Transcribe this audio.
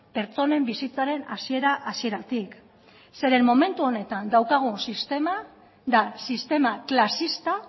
pertsonen bizitzaren hasiera hasieratik zeren momentu honetan daukagun sistema da sistema klasista